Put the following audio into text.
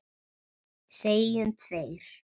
Segjum tveir.